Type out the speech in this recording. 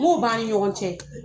Mɔgɔw b'an ni ɲɔgɔn cɛ.